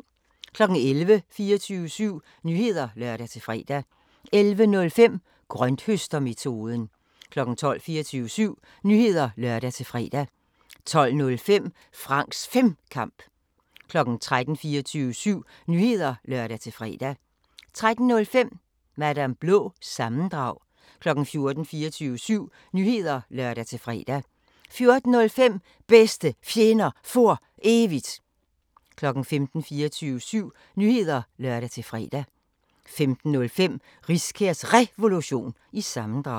11:00: 24syv Nyheder (lør-fre) 11:05: Grønthøstermetoden 12:00: 24syv Nyheder (lør-fre) 12:05: Franks Femkamp 13:00: 24syv Nyheder (lør-fre) 13:05: Madam Blå – sammendrag 14:00: 24syv Nyheder (lør-fre) 14:05: Bedste Fjender For Evigt 15:00: 24syv Nyheder (lør-fre) 15:05: Riskærs Revolution – sammendrag